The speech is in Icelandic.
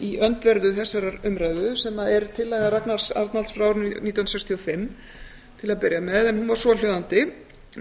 í öndverðu þessarar umræðu sem er tillaga ragnar arnalds frá árinu nítján hundruð sextíu og fimm en hún var svohljóðandi með